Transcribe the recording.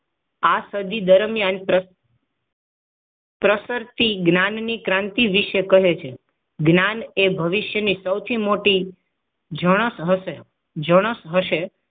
આ સદી દરમિયાન પ્રતિશી જ્ઞાનની ક્રાંતિ વિશે કહે છે જ્ઞાનએ ભવિષ્યની સૌથી મોટી જણસ હશે જણસ હશે